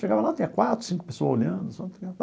Chegava lá, tinha quatro, cinco pessoas olhando.